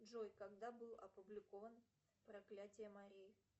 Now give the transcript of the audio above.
джой когда был опубликован проклятье мари